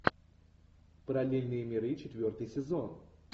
параллельные миры четвертый сезон